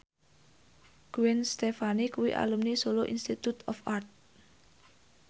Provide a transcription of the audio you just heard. Gwen Stefani kuwi alumni Solo Institute of Art